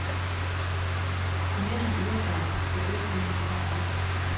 Jo mere han øver mig, jo bedre bliver han til at ramme.